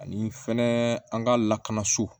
Ani fɛnɛ an ka lakana so